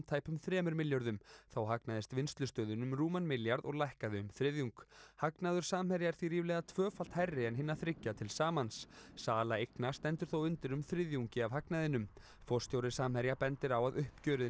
tæpum þremur milljörðum þá hagnaðist Vinnslustöðin um rúman milljarð og lækkaði um þriðjung hagnaður Samherja er því ríflega tvöfalt hærri en hinna þriggja til samans sala eigna stendur þó undir um þriðjungi af hagnaðinum forstjóri Samherja bendir á að uppgjörið